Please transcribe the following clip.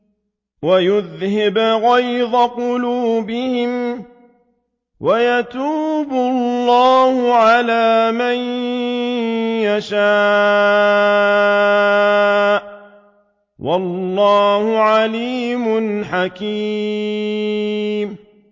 وَيُذْهِبْ غَيْظَ قُلُوبِهِمْ ۗ وَيَتُوبُ اللَّهُ عَلَىٰ مَن يَشَاءُ ۗ وَاللَّهُ عَلِيمٌ حَكِيمٌ